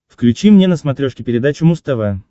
включи мне на смотрешке передачу муз тв